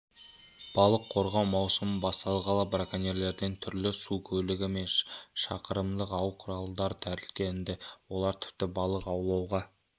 балық қорғау маусымы басталғалы браконьерлерден түрлі су көлігі мен шақырымдық ау-құралдар тәркіленді олар тіпті балық аулауға